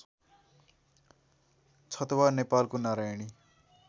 छतवा नेपालको नारायणी